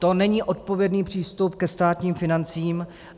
To není odpovědný přístup ke státním financím.